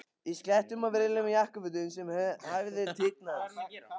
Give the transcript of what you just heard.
Í sléttum og virðulegum jakkafötum sem hæfðu tign hans.